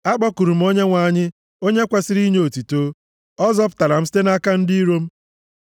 Akpọkuru m Onyenwe anyị, onye e kwesiri inye otuto, ọ zọpụtara m site nʼaka ndị iro m.